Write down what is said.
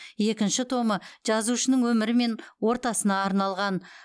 екінші томы жазушының өмірі мен ортасына арналған